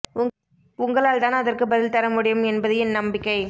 உங்களால் தான் அதற்கு பதில் தர முடியும் என்பது என் நம்பிக்கை